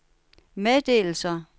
meddelelser